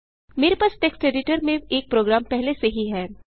मेरे पास text editor में एक प्रोग्राम पहले से ही है